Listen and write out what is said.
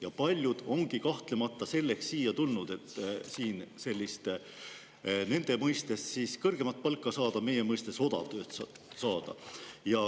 Ja paljud ongi kahtlemata tulnud siia selleks, et siin nende mõistes kõrgemat palka – meie mõistes odavtööd – saada.